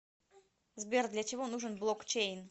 сбер для чего нужен блокчейн